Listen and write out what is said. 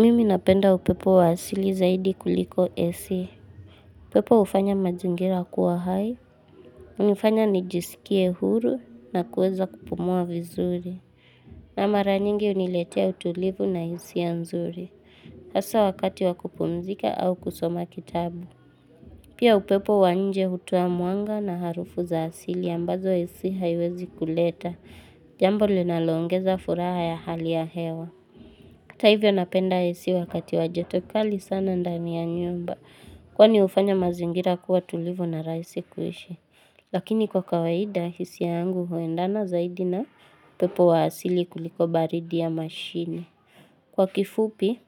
Mimi napenda upepo wa asili zaidi kuliko AC. Upepo ufanya mazingira kuwa hai. Unifanya nijisikie huru na kuweza kupumua vizuri. Na mara nyingi uniletea utulivu na hisia nzuri. Asa wakati wa kupumzika au kusoma kitabu. Pia upepo wa nje hutoa mwanga na harufu za asili ambazo AC haiwezi kuleta. Jambo linalongeza furaha ya hali ya hewa. Hata hivyo napenda AC wakati wa joto kali sana ndani ya nyumba kwani ufanya mazingira kuwa tulivu na rahisi kuishi. Lakini kwa kawaida hisia yangu huendana zaidi na pepo wa asili kuliko baridi ya mashini. Kwa kifupi